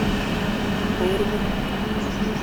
borwek